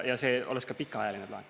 Ja see oleks ka pikaajaline plaan.